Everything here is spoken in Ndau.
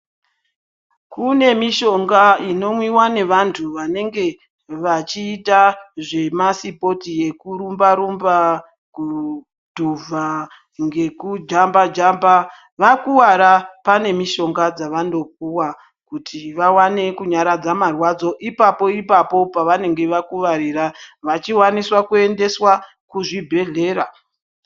Kune mishonga inomwiwa nevantu vanenge vachiita zvemasipotsi ekurumba rumba, kudhuvha ngekujamba jamba. Vakuwara pane mishonga dzavanopuwa kuti vawane kunyaradza marwadzo, ipapo ipapo pavanenge vakuvarira vachiwaniswa kuendeswa kuzvibhedhlera.